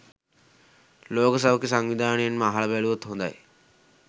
ලෝක සෞඛ්‍ය සන්විධානයෙන්ම අහල බැලුවොත් හොඳයි